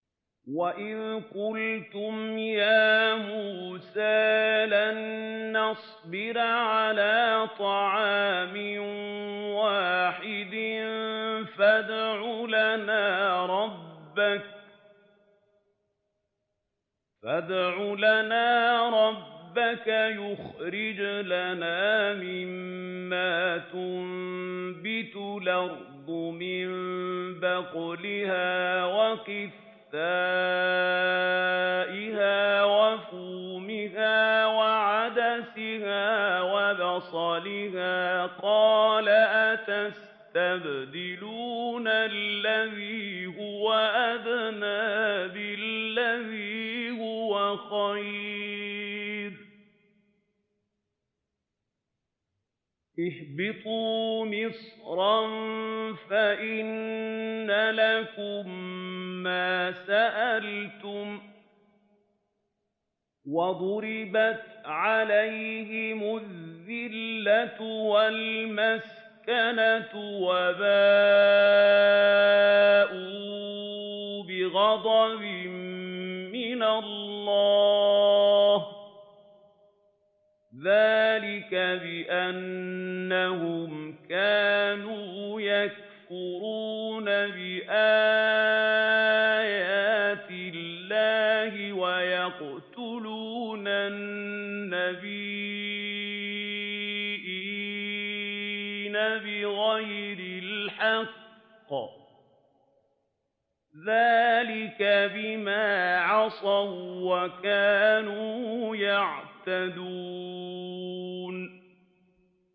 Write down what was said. وَإِذْ قُلْتُمْ يَا مُوسَىٰ لَن نَّصْبِرَ عَلَىٰ طَعَامٍ وَاحِدٍ فَادْعُ لَنَا رَبَّكَ يُخْرِجْ لَنَا مِمَّا تُنبِتُ الْأَرْضُ مِن بَقْلِهَا وَقِثَّائِهَا وَفُومِهَا وَعَدَسِهَا وَبَصَلِهَا ۖ قَالَ أَتَسْتَبْدِلُونَ الَّذِي هُوَ أَدْنَىٰ بِالَّذِي هُوَ خَيْرٌ ۚ اهْبِطُوا مِصْرًا فَإِنَّ لَكُم مَّا سَأَلْتُمْ ۗ وَضُرِبَتْ عَلَيْهِمُ الذِّلَّةُ وَالْمَسْكَنَةُ وَبَاءُوا بِغَضَبٍ مِّنَ اللَّهِ ۗ ذَٰلِكَ بِأَنَّهُمْ كَانُوا يَكْفُرُونَ بِآيَاتِ اللَّهِ وَيَقْتُلُونَ النَّبِيِّينَ بِغَيْرِ الْحَقِّ ۗ ذَٰلِكَ بِمَا عَصَوا وَّكَانُوا يَعْتَدُونَ